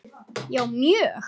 Já mjög